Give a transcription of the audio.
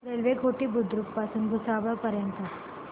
railway Ghoti Budruk पासून भुसावळ पर्यंत